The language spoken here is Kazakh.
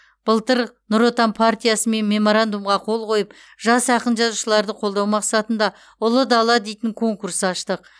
былтыр нұр отан партиясымен меморандумға қол қойып жас ақын жазушыларды қолдау мақсатында ұлы дала дейтін конкурс аштық